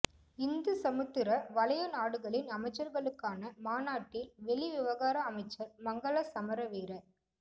இந்து சமுத்திர வலய நாடுகளின் அமைச்சர்களுக்கான மாநாட்டில் வெளிவிவகார அமைச்சர் மங்கள சமரவீர